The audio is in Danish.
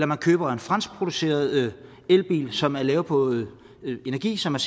man køber en franskproduceret elbil som er lavet på energi som er